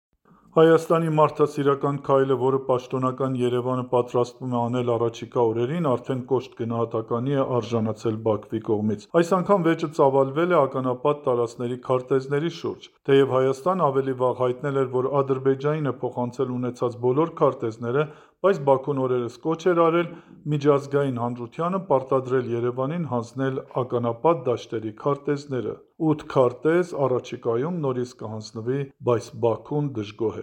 Հայաստանի մարդասիրական քայլը, որը պաշտոնական Երևանը պատրաստվում է անել առաջիկա օրերին, արդեն կոշտ գնահատականի է արժանացել Բաքվի կողմից։ Այս անգամ վեճը ծավալվել է ականապատ տարածքների քարտեզների շուրջ։ Թեև Հայաստանը ավելի վաղ հայտնել էր, որ Ադրբեջանին է փոխանցել ունեցած բոլոր քարտեզները, բայց Բաքուն օրերս կոչ էր արել միջազգային հանրությանը «պարտադրել Երևանին հանձնել ականապատ դաշտերի քարտեզները»։ 8 քարտեզ առաջիկայում նորից կհանձնվի, բայց Բաքուն դժգոհ